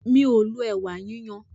Mí o lo ẹ̀wà yíyan.